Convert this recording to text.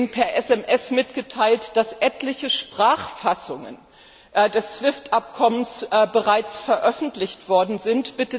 Mir wurde eben per SMS mitgeteilt, dass etliche Sprachfassungen des SWIFT Abkommens bereits veröffentlicht worden sind.